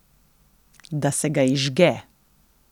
Da se ga izžge.